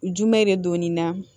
Jumɛn de don nin na